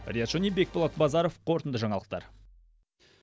риат шони бекболат базаров қорытынды жаңалықтар